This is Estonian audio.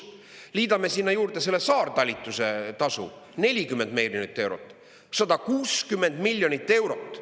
Liidame sinna juurde selle saartalitluse tasu 40 miljonit eurot: 160 miljonit eurot.